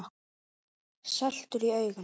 Saltur í augum.